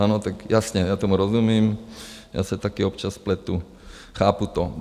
Ano, tak jasně, já tomu rozumím, já se taky občas spletu, chápu to.